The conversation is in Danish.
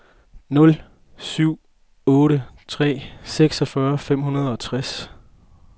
nul syv otte tre seksogfyrre fem hundrede og tres